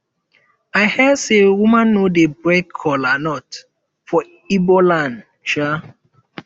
i hear say women no dey break kola nut for igbo land um